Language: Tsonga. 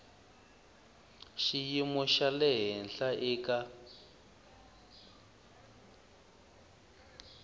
xiyimo xa le henhla eka